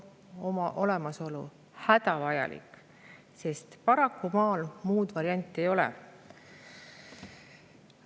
Selle olemasolu on hädavajalik, sest paraku maal muud varianti ei ole.